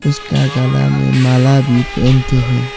इसका गला में माला भी पहनके है।